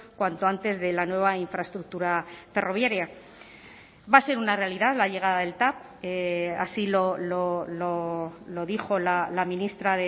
cuanto antes de la nueva infraestructura ferroviaria va a ser una realidad la llegada del tav así lo dijo la ministra